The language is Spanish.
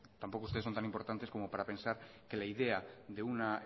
tampoco ustedes son tan importantes como para pensar que la idea de una